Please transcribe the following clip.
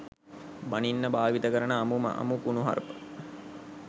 බනින්න භාවිතා කරන අමුම අමු කුණුහරුප.